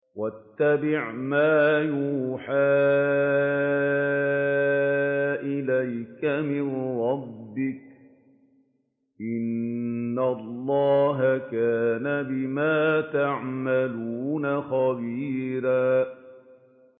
وَاتَّبِعْ مَا يُوحَىٰ إِلَيْكَ مِن رَّبِّكَ ۚ إِنَّ اللَّهَ كَانَ بِمَا تَعْمَلُونَ خَبِيرًا